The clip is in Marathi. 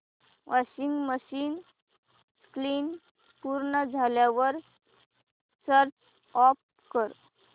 वॉशिंग मशीन स्पिन पूर्ण झाल्यावर स्विच ऑफ कर